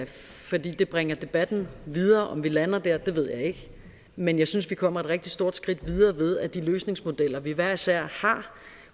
fordi det bringer debatten videre om vi lander der der ved jeg ikke men jeg synes vi kommer et rigtig stort skridt videre ved at de løsningsmodeller vi hver især har